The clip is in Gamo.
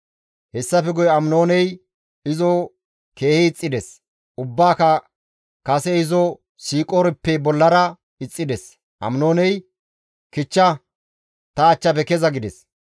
Hessafe guye Aminooney izo keehi ixxides; ubbaaka kase izo siiqoorippe bollara ixxides. Aminooney, «Kichcha ta achchafe keza!» gides.